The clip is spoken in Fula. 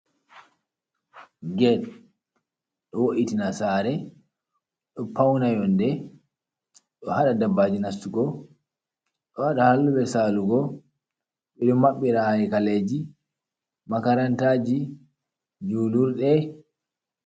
Ged ɗo wo’itina sare, ɗo pauna yonde, ɗo hada dabbaji nastugo, ɗo haɗa haluɓe salugo, ɓeɗo maɓɓira hari kaleji makarantaji, julurde.